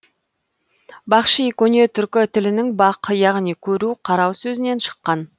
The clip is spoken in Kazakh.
бахши көне түркі тілінің бақ яғни көру қарау сөзінен шыққан